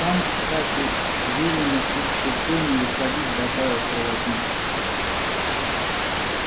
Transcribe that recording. вам кстати велено из купе не выходить добавил проводник